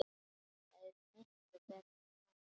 Þetta er miklu betra svona.